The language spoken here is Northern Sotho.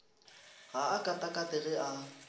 ga a katakate ge a